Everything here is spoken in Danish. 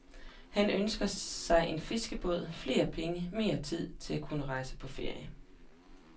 Han ønsker sig en fiskerbåd, flere penge og mere tid til at kunne rejse på ferie.